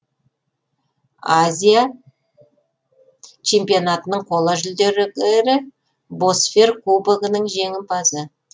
азия чемпионатының қола жүлдегері босфер кубогінің жеңімпазы